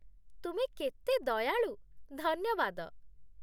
ତୁମେ କେତେ ଦୟାଳୁ, ଧନ୍ୟବାଦ।